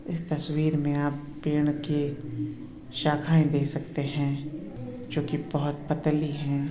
इस तस्वीर में आप पेड़ की शाखाएं देख सकते है जोकि बोहोत पतली है।